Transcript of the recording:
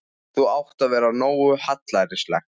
Það átti að vera nógu hallærislegt.